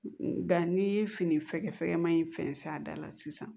Ba n'i ye fini fɛkɛ ma in fɛn s'a da la sisan